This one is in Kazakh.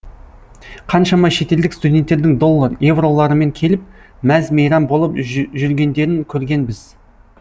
қаншама шетелдік студенттердің доллар эвроларымен келіп мәз мейрам болып жүргендерін көргенбіз